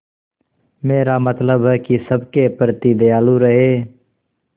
मेरा मतलब है कि सबके प्रति दयालु रहें